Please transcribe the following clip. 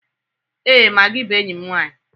Ee, magi bụ enyi m nwanyị.